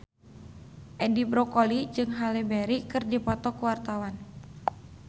Edi Brokoli jeung Halle Berry keur dipoto ku wartawan